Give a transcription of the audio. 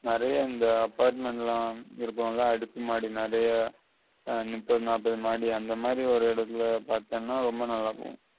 நெறைய அந்த apartment எல்லாம் இருப்பாங்க அடுக்கு மாடி நெறைய எர் முப்பது நாப்பது மாடி அந்த மாதி ஒரு இடத்தில பார்த்தேன்னா ரொம்ப நல்லா இருக்கும்